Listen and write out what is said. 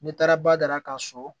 Ne taara badara ka so